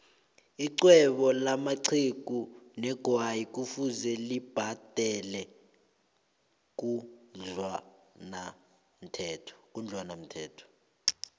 ixhwebo lamaxhugu negwayi kufuze libhadele khudlwanaumthelo